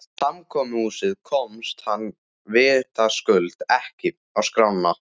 Samkomuhúsið komst hann vitaskuld ekki á skrána.